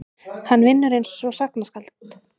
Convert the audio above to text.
Hann vinnur einsog sagnaskáld.